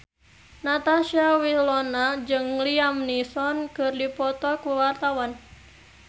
Natasha Wilona jeung Liam Neeson keur dipoto ku wartawan